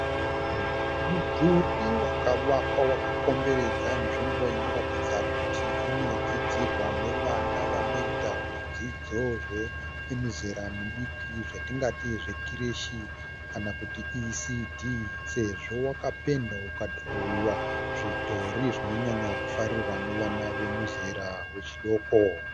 Mudhuri wakavakwa wakakomberedza nzvimbo inoratidza kuti inodzidzirwa navana vanoita zvidzidzo zvemizera midiki zvatingati zvekireshi kana kuti ECD sezvo wakapendwa ukadhirowiwa zvidhori zvinowanzofarirwa navana vemizera yechidoko.